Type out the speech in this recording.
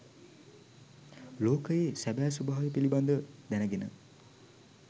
ලෝකයේ සැබෑ ස්වභාවය පිළිබඳව දැනගෙන